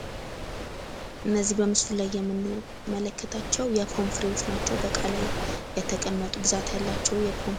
እነዚህ በምስሉ ላይ የምንመለከታቸው የፖም ፍሬዎች ናቸው። በእቃ ላይ የተቀመጡ ብዛት ያላቸው የፖም ፍሬዎች ናቸው።